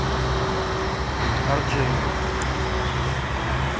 орджениус